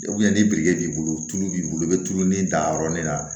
ni biriki b'i bolo tulu b'i bolo i bɛ tulu dan yɔrɔnin na